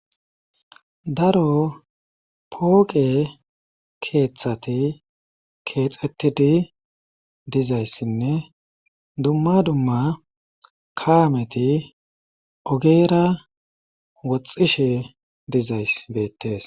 daro pooqe keeththati keexetidi dizayssinne dumma dumma kaameti ogeera woxxishe dizay beettes